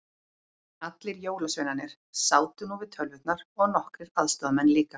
Allir jólasveinarnir sátu nú við tölvurnar og nokkrir aðstoðamenn líka.